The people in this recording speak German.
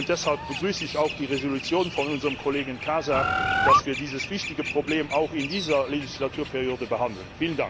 Deshalb begrüße ich auch die Entschließung unseres Kollegen Casa, dass wir dieses wichtige Problem auch in der neuen Legislaturperiode behandeln.